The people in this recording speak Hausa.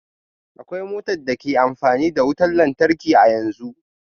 Akwai mota da ke amfani da wutar lantarki a yanzu